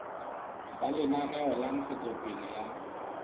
ba lenaneo la ntshetsopele ya